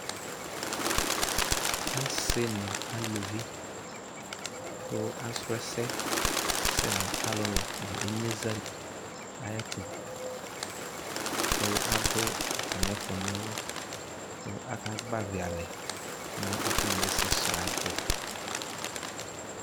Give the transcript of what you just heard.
Asɩ nʋ aluvi kʋ asrɔ ɛsɛ sɛ nʋ alʋlʋ nʋ inyeza li ayɛtʋ kʋ adʋ atamɩ ɛfʋna ɔlʋ kʋ akagbavɩ alɛ nʋ atamɩ ɛsɛsrɔ ayɛtʋ